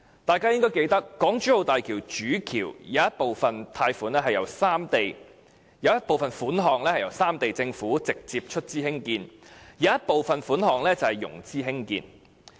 大家應該記得，港珠澳大橋主橋部分興建費用由三地政府直接出資，部分則透過融資提供。